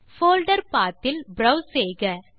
folder path இல் browse செய்க